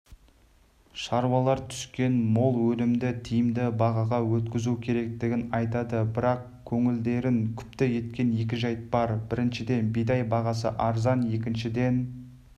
шаруалар түскен мол өнімді тиімді бағаға өткізу керектігін айтады бірақ көңілдерін күпті еткен екі жәйт бар біріншіден бидай бағасы арзан екіншіден